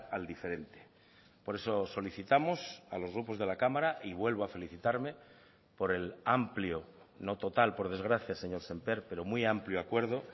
al diferente por eso solicitamos a los grupos de la cámara y vuelvo a felicitarme por el amplio no total por desgracia señor sémper pero muy amplio acuerdo